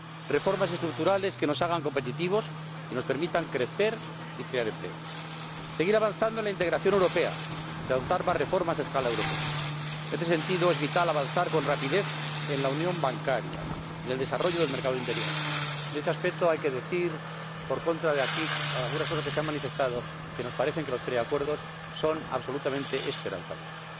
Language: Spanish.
reformas estructurales que nos hagan competitivos y nos permitan crecer y crear empleo seguir avanzando en la integración europea y adoptar más reformas a escala europea ―en este sentido es vital avanzar con rapidez en la unión bancaria y en el desarrollo del mercado interior y a este respecto hay que decir, en contra de algunas cosas que se han manifestado aquí, que nos parece que los preacuerdos son absolutamente esperanzadores